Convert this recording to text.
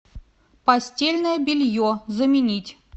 постельное белье заменить